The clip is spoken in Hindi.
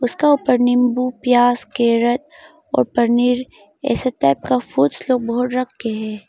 उसका ऊपर नींबू प्याज के रस और पनीर ये सब टाइप का फूड्स लोग बहुत रखे है।